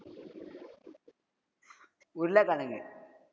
உருளகிழங்கு